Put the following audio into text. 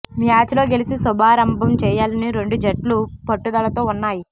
match లో గెలిచి శుభారంభం చేయాలని రెండు జట్లు పట్టుదలతో ఉన్నాయి